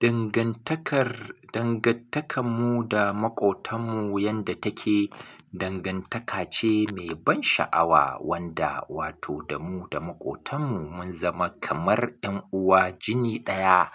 Dangantakarmu da maƙotanmu yadda take, dangantaka ce mai ban sha'awa wanda wato da mu da maƙotanmu mun zama kamar ’yan uwa jini ɗaya.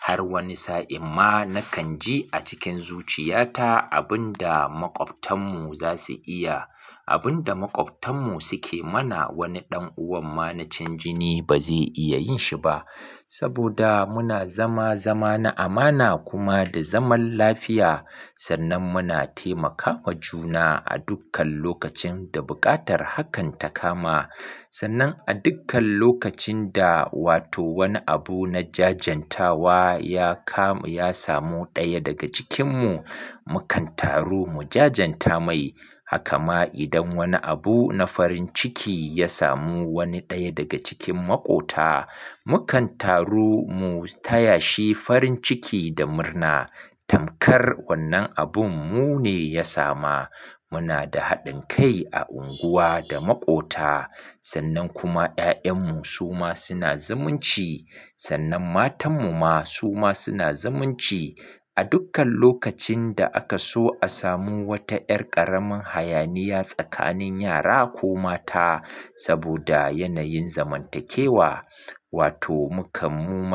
Har wani sa'in ma na kan ji a cikin zuciyata abin da maƙwabtan mu za su iya, abin da maƙwabtan mu suke mana wani ɗan uwan mana can jini ba zai iya yin shi ba. Saboda muna zama, zama na amana kuma da zaman lafiya, sannan muna taimaka wa juna a dukkan lokacin da buƙatar hakan ta kama. Sannan a dukkan lokacin da wato wani abu na jajantawa ya samu ɗaya daga cikinmu, mukan taru mu jajanta mai. Haka ma idan wani abu na farin ciki ya samu wani ɗaya daga cikin maƙota, mukan taru mu taya shi farin ciki da murna. Tamkar wannan abun mu ne ya sama. Muna da haɗin kai a unguwa da maƙota. Sannan kuma ƴaƴanmu su ma suna zumunci. Sannan matanmu ma su ma suna zumunci. A dukkan lokacin da aka so a samu wata ƴar ƙaramin hayaniya tsakanin yara ko mata saboda yanayin zamantakewa, wato mu kamu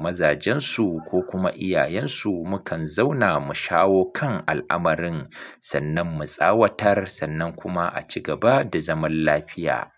mazajensu ko kuma iyayensu mukan zauna mu shawo kan al'amarin, sannan mu tsawatar, sannan kuma a ci gaba da zaman lafiya.